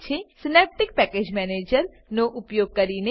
Synaptic package manager Synaptic package manager નો ઉપયોગ કરીને